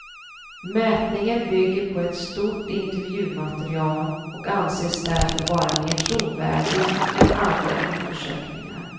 Mätningen bygger på ett stort intervjumaterial och anses därför vara mer trovärdig än andra undersökningar.